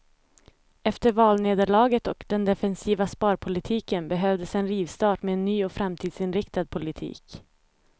Efter valnederlaget och den defensiva sparpolitiken behövdes en rivstart med en ny och framtidsinriktad politik.